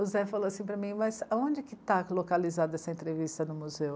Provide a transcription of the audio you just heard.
O Zé falou assim para mim, mas onde é que está localizada essa entrevista no museu?